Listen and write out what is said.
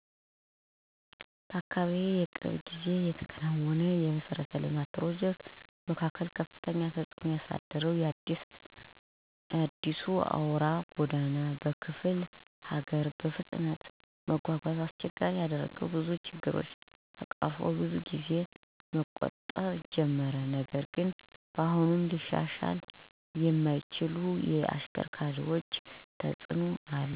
በአካባቢዬ የቅርብ ጊዜ የተከናወነው የመሠረተ ልማት ፕሮጀክት መካከል ከፍተኛ ተጽእኖ ያሳየው የአዲሱ አውራ ጎዳና በክፍለ ሀገር ነው። በፍጥነት መጓጓዣን አስቸጋሪ ያደረገው ብዙ ችግኝ ቀርፎ ብዙ ጊዜን መቆጠብ ጀመረ። ነገር ግን አሁንም ሊሻሻል የሚያስፈልገው ብዙ ነገር አለ። በተለይ የቆሻሻ አወጋገድ እንዲሁም በአውራ ጎዳናው ላይ የድህነት ቅርብ እንክብካቤ ይፈልጋል። ተጨማሪ የመንገድ መብራት፣ ትራፊክ ምልክቶች እና ዕፅዋት ማሻሻያም በጣም ያስፈልጋል።